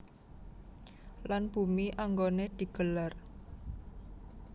Lan bumi anggoné di gelar